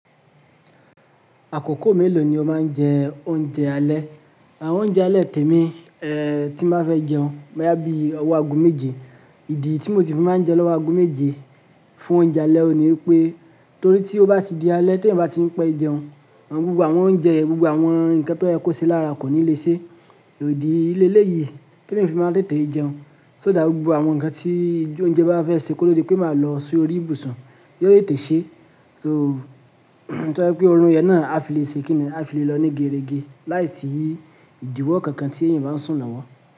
Àkókò mélòó ni ó máa ń jẹ oúnjẹ alẹ́? Àwọn oúnjẹ alẹ́ tèmi, eh, tí n ba fẹ́ jẹun, boyà bíi ọwọ́ ago méje. Ìdí tí mo ti máa ń jẹun lọ́wọ́ agoméje fún oúnjẹ alẹ́ òní pé torí tí ó bá ti di alẹ́ tí èèyàn bá ti ń pẹ́ jẹun, àwọn gbogbo àwọn oúnjẹ, gbogbo àwọn nǹkan tó ye kó se lára kò ní lè ṣe. Idí léléyìí tèmi fi máa tètè jẹun. So dàá gbogbo àwọn nǹkan tí oúnjẹ bá fẹ́ ṣe kó to di pé máa lọ sí orí ìbùsùn. Yó tètè ṣe, so tó jẹ́ pé oorun yẹn náà á fi lè ṣe kín ní a fi lè lọ ní gẹrẹ́gẹ́ láìsí ìdíwọ́ kankan tí èèyàn bá ń sùn lọ́wọ́.